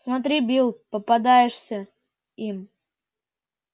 смотри билл попадёшься им